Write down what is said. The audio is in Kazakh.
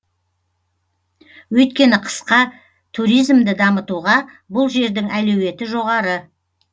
өйткені қысқа туризмді дамытуға бұл жердің әлеуеті жоғары